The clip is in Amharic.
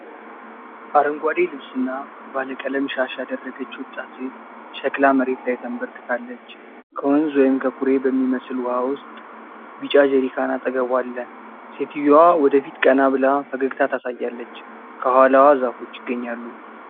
አረንጓዴ ልብስና ባለቀለም ሻሽ ያደረገች ወጣት ሴት ሸክላ መሬት ላይ ተንበርክካለች። ከወንዝ ወይም ከኩሬ በሚመስል ውሃ ውስጥ ቢጫ ጀሪካን አጠገቧ አለ። ሴትየዋ ወደ ፊት ቀና ብላ ፈገግታ ታሳያለች፤ ከኋላዋ ዛፎች ይገኛሉ።